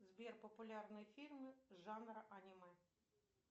сбер популярные фильмы жанра аниме